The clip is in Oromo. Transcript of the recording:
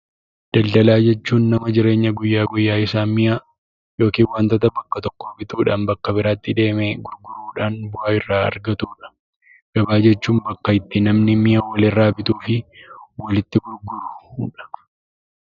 Daldalaa jechuun nama jireenya guyyaa guyyaa isaa mi'a yookaan wantoota bakka tokko bituudhaan bakka biraatti deemee gurguruudhaan bu'aa irraa argatu dha. Gabaa jechuun bakka itti namni mi'a nama irraa bituu fi walitti gurguru dha.